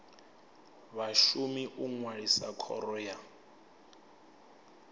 vhashumi u ṅwalisa khoro ya